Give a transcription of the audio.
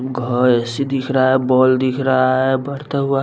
घर ए_सी दिख रहा है बॉल दिख रहा है बढ़ता हुआ --